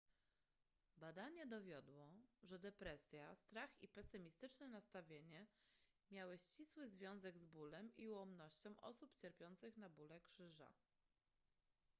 badanie dowiodło że depresja strach i pesymistyczne nastawienie miały ścisły związek z bólem i ułomnością osób cierpiących na bóle krzyża